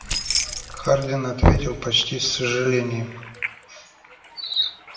хардин ответил почти с сожалением